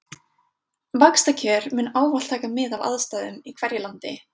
Vaxtakjör munu ávallt taka mið af aðstæðum í hverju landi.